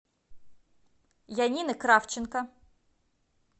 янины кравченко